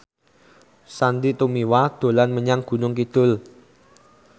Sandy Tumiwa dolan menyang Gunung Kidul